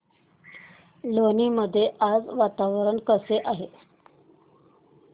लोणी मध्ये आज वातावरण कसे आहे